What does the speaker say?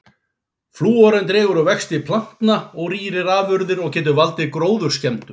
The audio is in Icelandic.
Flúorinn dregur úr vexti plantna og rýrir afurðir og getur valdið gróðurskemmdum.